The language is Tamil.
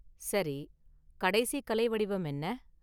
சரி, கடைசி கலை வடிவம் என்ன?